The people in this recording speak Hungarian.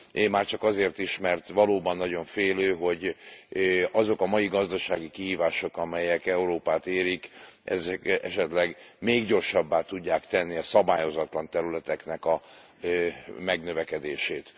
Én már csak azért is, mert valóban nagyon félő, hogy azok a mai gazdasági kihívások, amelyek Európát érik, esetleg még gyorsabbá tudják tenni a szabályozatlan területeknek a megnövekedését.